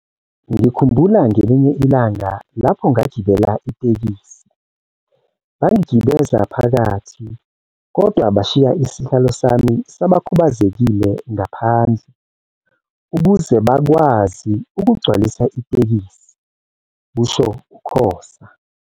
Ngikhumbula ngelinye ilanga lapho ngagibela itekisi, bangigibeza phakathi kodwa bashiya isihlalo sami sabakhubazekile ngaphandle ukuze bakwazi ukugcwalisa itekisi," kusho uKhoza.